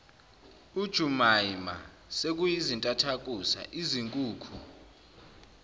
ujumaima sekuyizintathakusa izinkukhu